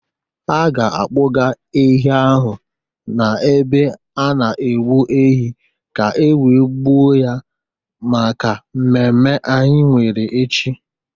Ha ga-akpụga ehi ahụ n'ebe a na-egbu ehi ka e wee gbuo ya maka mmemme anyị nwere echi.